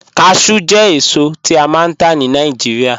Cashew jẹ̀ èsò, tí a máa n tà ní Nàìjíríà